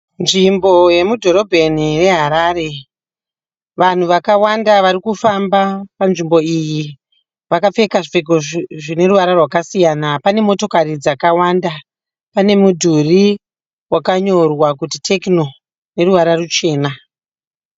Nzvimbo yemudhorobheni yeHarare . Vanhu vakawanda varikufamba panzvimbo iyi . Vakapfeka zvipfeko zvine ruvara rwakasiyana pane motokari dzakawanda . Pane mudhuri wakanyorwa kuti "Techno " neruvara ruchena .